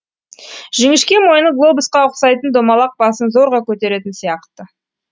жіңішке мойны глобусқа ұқсайтын домалақ басын зорға көтеретін сияқты